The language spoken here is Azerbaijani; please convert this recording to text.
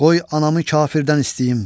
Qoy anamı kafirdən istəyim.